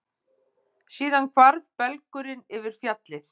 Síðan hvarf belgurinn yfir fjallið.